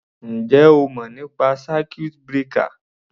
Ǹjẹ́ o mọ̀ nípa circuit breaker?